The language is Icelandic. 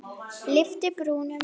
Lyfti brúnum.